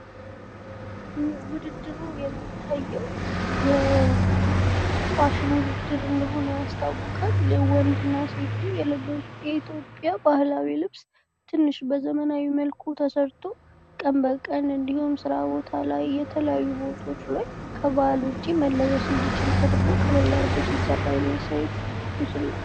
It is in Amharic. ውድድሩ የሚታየው የፋሽን ውድድር እንደሆነ ያስታውቃል። ወንድ እና ሴቱ የለበሱት የኢትዮጵያ ባህላዊ ልብስ ትንሽ በዘመናዊ መልኩ ተሰርቶ ቀንበቀን እንዲሁም ስራ ቦታ ላይ ፣ የተለያዩ ቦታወች ላይ ከበዓል ውጪ መለበስ እንዲችል ተደርጎ ቀለል አረጎ ሲሰራ የሚያሳይ ምስል ነው።